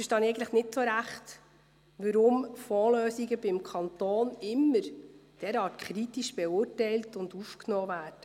Ich verstehe eigentlich nicht wirklich, warum Fondslösungen beim Kanton immer derart kritisch aufgenommen und beurteilt werden.